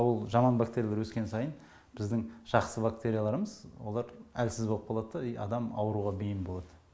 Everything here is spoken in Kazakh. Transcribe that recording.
ол жаман бактериялар өскен сайын біздің жақсы бактерияларымыз олар әлсіз болып қалады да и адам ауруға бейім болат